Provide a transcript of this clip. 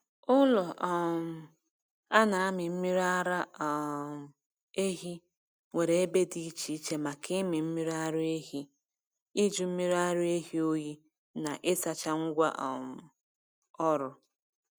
Ụlọ um a na-amị mmiri ara um ehi nwere ebe dị iche iche maka ịmị mmiri ara ehi, ịjụ mmiri ara ehi oyi, na ịsacha ngwa um ọrụ.